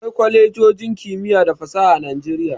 Akwai kwalejojin kimiyya da fasaha a Nijeriya.